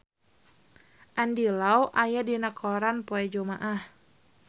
Andy Lau aya dina koran poe Jumaah